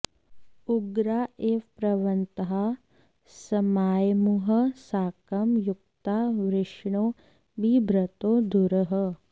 उग्रा इव प्रवहन्तः समायमुः साकं युक्ता वृषणो बिभ्रतो धुरः